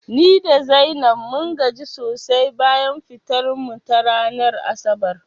Ni da Zainab mun gaji sosai bayan fitar mu ta ranar asabar